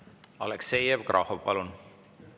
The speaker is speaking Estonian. Aleksei Jevgrafov, palun!